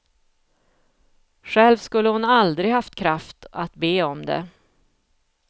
Själv skulle hon aldrig haft kraft att be om det.